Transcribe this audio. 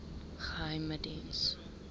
geheimediens